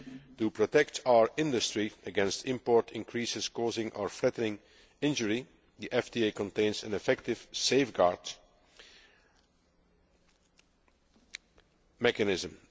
To protect our industry against import increases causing or threatening injury, the FTA contains an effective safeguard mechanism.